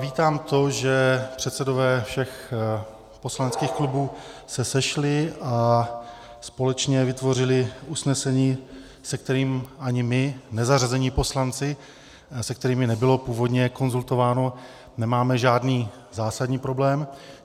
Vítám to, že předsedové všech poslaneckých klubů se sešli a společně vytvořili usnesení, se kterým ani my nezařazení poslanci, se kterými nebylo původně konzultováno, nemáme žádný zásadní problém.